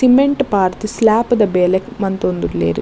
Cement ಪಾಡ್ದ್ ಸ್ಲೇಪ್ದ ಬೇಲೆ ಮಂತೊಂದುಲ್ಲೆರ್.